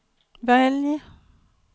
välj